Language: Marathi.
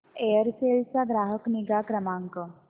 एअरसेल चा ग्राहक निगा क्रमांक